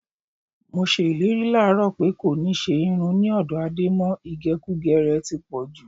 Mo s̩e ìlérí láàárò̩ pé kò ní s̩e irun ní ò̩dó̩ Adé mo̩. Ìgè̩kugè̩ rè̩ ti pọ̩̀ jù.